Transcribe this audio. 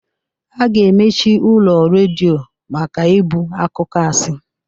A ga-emechi ụlọ redio maka ibu akụkọ asị.